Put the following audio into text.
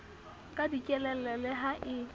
ka dikelello le ha e